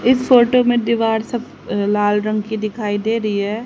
इस फोटो में दीवार सब लाल रंग की दिखाई दे रही है।